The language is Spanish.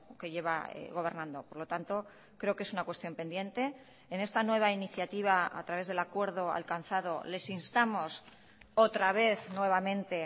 que lleva gobernando por lo tanto creo que es una cuestión pendiente en esta nueva iniciativa a través del acuerdo alcanzado les instamos otra vez nuevamente